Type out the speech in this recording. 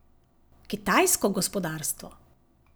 Kitajsko gospodarstvo?